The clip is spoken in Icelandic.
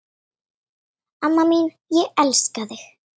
Amma mín, ég elska þig.